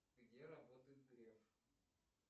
где работает греф